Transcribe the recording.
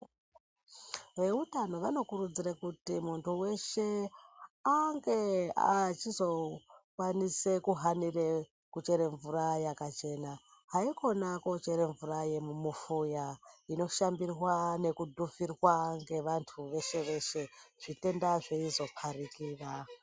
Eutano vanokurudzire kuti muntu weshe ange achizokwanise kuhanire kuchere mvura yakachena haikona kochere mvura yemumufoya inoshandirwa nekudhuvhirwa ngevantu veshe veshe zvitenda zveizoparikira.